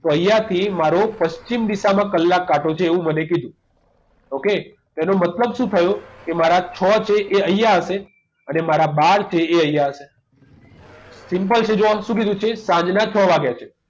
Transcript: તો અહીંયા થી મારો પશ્ચિમ દિશામાં કલાક કાંટો છે એવું મને કીધું okay એનો મતલબ શું થયો કે મારા છ છે એ અહીંયા હશે અને મારા બાર છે એ અહીંયા હશે simple છે જુઓ શું કીધું છે સાંજના છ વાગ્યા છે